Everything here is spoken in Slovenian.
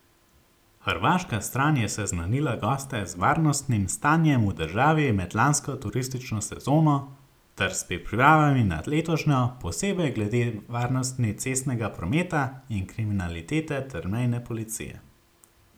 Hrvaška stran je seznanila goste z varnostnim stanjem v državi med lansko turistično sezono ter s pripravami na letošnjo, posebej glede varnosti cestnega prometa in kriminalitete ter mejne policije.